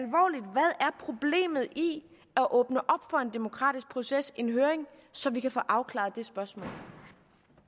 problemet i at åbne op for en demokratisk proces en høring så vi kan få afklaret det spørgsmål